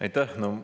Aitäh!